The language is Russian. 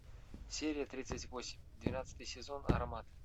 серия тридцать восемь двенадцатый сезон аромат